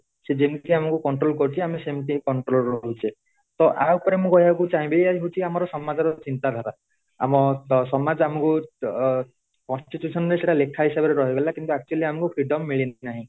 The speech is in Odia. ଯେମିତି ଆମକୁ କୋଣଟ୍ରୋଲକରୁଛି ଆମେ ସେମିତି କୋଣଟ୍ରୋଲ ରହୁଛେ ତ ୟା ଉପରେ ମୁଁ କହିବାକୁ ଚାହିନବି ଏଆ ହଉଛି ଆମ ସମାଜ ର ଚିନ୍ତା ଧାରା ଆମ ସମାଜ ଆମ କୁ constitution ରେ ସେଟା ଲେଖା ହିସାବ ରେ ରହିଗଲା କିନ୍ତୁ actually ଆମ କୁ freedom ମିଳି ନାହି |